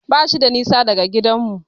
Bashi da nisa daga gidanmu.